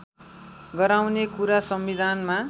गराउने कुरा संविधानमा